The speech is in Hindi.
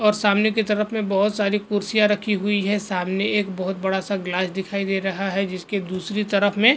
और सामने के तरफ में बहुत सारी कुर्सियां रखी हुई है। सामने एक बहुत बड़ा सा ग्लास दिखाइ दे रहा है जिसके दूसरी तरफ में --